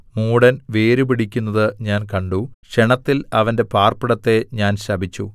മൂഢൻ വേരുപിടിക്കുന്നത് ഞാൻ കണ്ടു ക്ഷണത്തിൽ അവന്റെ പാർപ്പിടത്തെ ഞാൻ ശപിച്ചു